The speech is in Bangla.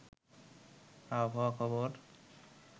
আবহাওয়া খবর